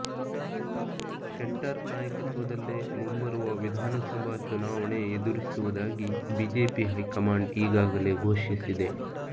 ಶೆಟ್ಟರ್ ನಾಯಕತ್ವದಲ್ಲೇ ಮುಂಬರುವ ವಿಧಾನಸಭಾ ಚುನಾವಣೆ ಎದುರಿಸುವುದಾಗಿ ಬಿಜೆಪಿ ಹೈಕಮಾಂಡ್ ಈಗಾಗಲೇ ಘೋಷಿಸಿದೆ